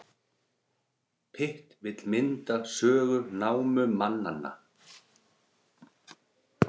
Pitt vill mynda sögu námumannanna